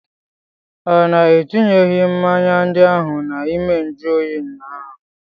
Ọ na etinyeghị mmanya ndị ahụ n'ime nju oyi ụnyaahụ?